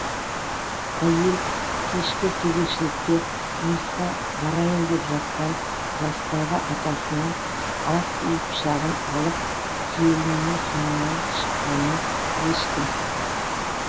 әйел кешкі кезекшілікке жұмысқа барайын деп жатқан жастағы атасының асүй пышағын алып келінінің соңынан шыққанын ешкім